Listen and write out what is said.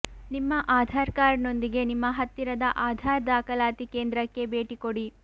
ನಿಮ್ಮ ಆಧಾರ್ ಕಾರ್ಡ್ ನೊಂದಿಗೆ ನಿಮ್ಮ ಹತ್ತಿರದ ಆಧಾರ್ ದಾಖಲಾತಿ ಕೇಂದ್ರಕ್ಕೆ ಭೇಟಿಕೊಡಿ